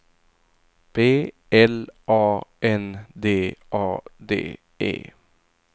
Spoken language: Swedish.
B L A N D A D E